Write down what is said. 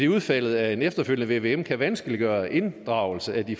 udfaldet af en efterfølgende vvm kan vanskeliggøre inddragelse af de